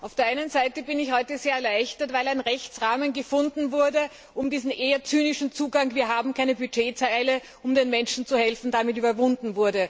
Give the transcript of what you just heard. Auf der einen Seite bin ich heute sehr erleichtert, weil ein Rechtsrahmen gefunden wurde, um diesen eher zynischen Zugang Wir haben keine Budgetzeile, um den Menschen zu helfen zu überwinden.